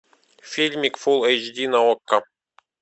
фильмик фул эйч ди на окко